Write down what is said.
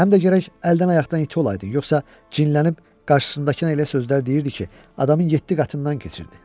Həm də gərək əldən-ayaqdan iti olaydın, yoxsa cinlənib qarşısındakına elə sözlər deyirdi ki, adamın yeddi qatından keçirdi.